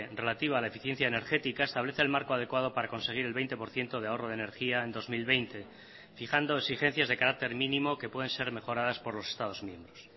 relativa a la eficiencia energética establece el marco adecuado para conseguir el veinte por ciento de ahorro de energía en dos mil veinte fijando exigencias de carácter mínimo que pueden ser mejoradas por los estados miembros